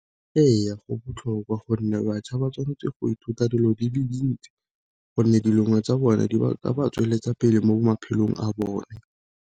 Ee go botlhokwa gonne batjha ba tshwanetse go ithuta dilo di le dintsi, gonne tsa bone di ka ba tsweletsa pele mo maphelong a bone.